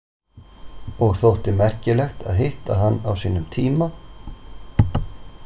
Og þótti merkilegt að hitta hann á sínum tíma.